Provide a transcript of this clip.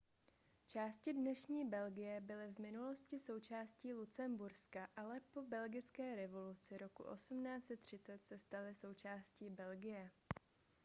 části dnešní belgie byly v minulosti součástí lucemburska ale po belgické revoluci roku 1830 se staly součástí belgie